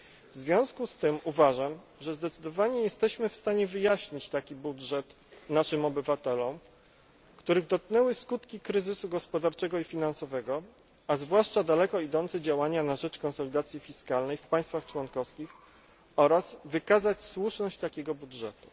W związku z tym uważam, że zdecydowanie jesteśmy w stanie wyjaśnić taki budżet naszym obywatelom, których dotknęły skutki kryzysu gospodarczego i finansowego, a zwłaszcza daleko idące działania na rzecz konsolidacji fiskalnej w państwach członkowskich oraz wykazać słuszność takiego budżetu.